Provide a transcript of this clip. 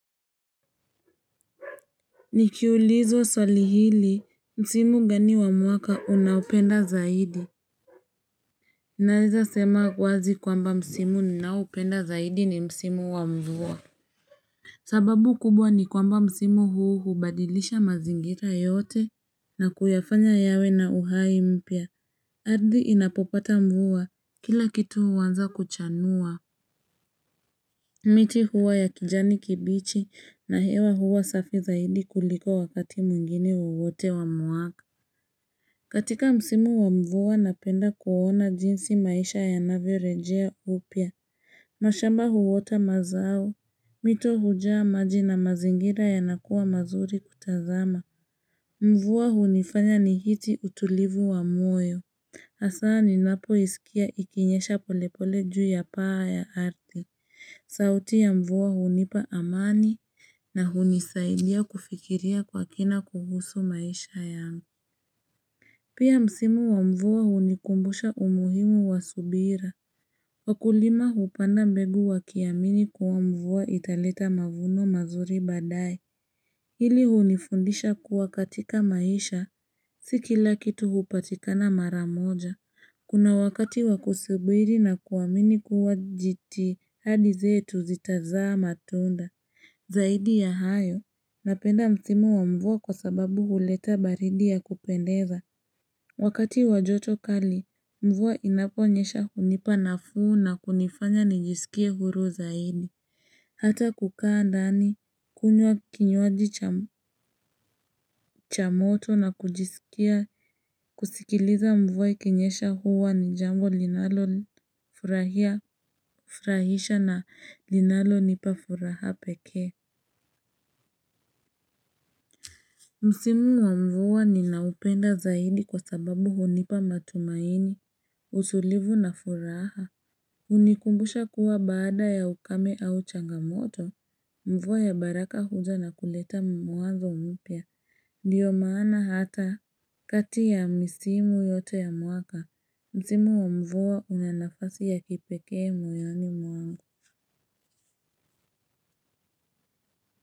Nikiulizwa swali hili, msimu gani wa mwaka unaupenda zaidi. Naeza sema wazi kwamba msimu ninaupenda zaidi ni msimu wa mvua. Sababu kubwa ni kwamba msimu huu hubadilisha mazingira yote na kuyafanya yawe na uhai mpya. Ardhi inapopata mvua, kila kitu huanza kuchanua. Miti huwa ya kijani kibichi na hewa huwa safi zaidi kuliko wakati mwingine wowote wa mwaka. Katika msimu wa mvua napenda kuona jinsi maisha ya navyo rejea upia, mashamba huota mazao, mito hujaa maji na mazingira ya nakuwa mazuri kutazama. Mvua hunifanya ni hiti utulivu wa mwoyo. Hasa ni napo iskia ikinyesha polepole juu ya paa ya arthi. Sauti ya mvua hunipa amani na hunisaidia kufikiria kwa kina kuhusu maisha yangu. Pia msimu wa mvua hunikumbusha umuhimu wa subira Wakulima hupanda mbegu wa kiamini kuwa mvua italeta mavuno mazuri baadae Hili unifundisha kuwa katika maisha Sikila kitu hupatikana maramoja Kuna wakati wakusubiri na kuamini kuwa jiti hadi zetu zitazaa matunda Zaidi ya hayo Napenda msimu wa mvua kwa sababu huleta baridi ya kupendeza Wakati wajoto kali, mvua inaponyesha hunipa na fuu na kunifanya nijisikie huru zaidi. Hata kukaa ndani, kunywa kinywaji cha moto na kujiskia, kusikiliza mvua ikinyesha huwa ni jambo linalonifurahisha na linalo nipa furaha pekee. Msimu wa mvua ninaupenda zaidi kwa sababu hunipa matumaini, usulivu na furaha. Unikumbusha kuwa baada ya ukame au changamoto mvua ya baraka huja na kuleta mwanzo mpya Ndiyo maana hata kati ya misimu yote ya mwaka Msimu wa mvua unanafasi ya kipekee moyoni mwangu.